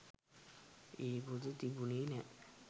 ඒ පොත තිබුණේ නෑ.